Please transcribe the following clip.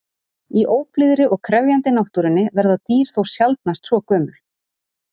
Í óblíðri og krefjandi náttúrunni verða dýr þó sjaldnast svo gömul.